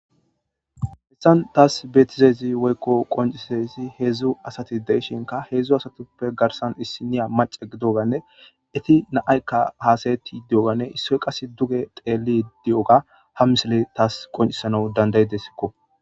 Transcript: Hayssan thaassi beeththizassi woykko qonccizayssi heezzu asathi de7ishenkka heezzu asathuppe garssan issinniya macca gidoogaanne ethi naa7aykka haasayeththiiddi diyoogaanne issoy qassi duge xeelliidi diyoogaa ha mislee thas qonccissanas danddayidesikko.